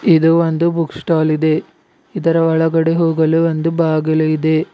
ಇದು ಒಂದು book stall ಇದೆ ಇದರ ಒಳಗಡೆ ಹೋಗಲು ಒಂದು ಬಾಗಿಲು ಇದೆ.